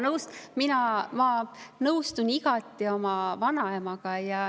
Ma nõustun igati oma vanaemaga.